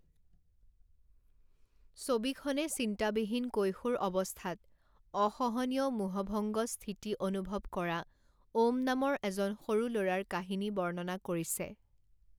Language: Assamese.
ছবিখনে চিন্তাবিহীন কৈশোৰ অৱস্থাত অসহনীয় মোহভংগ স্থিতি অনুভৱ কৰা ওম নামৰ এজন সৰু ল'ৰাৰ কাহিনী বৰ্ণনা কৰিছে৷